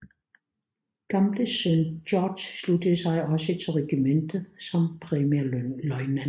Gambles søn George sluttede sig også til regimentet som premierløjtnant